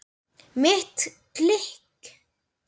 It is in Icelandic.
Mitt klikk?